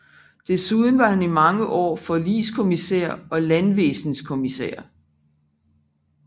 Desuden var han i mange år forligelseskommissær og landvæsenskommissær